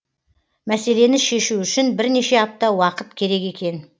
мәселені шешу үшін бірнеше апта уақыт керек екен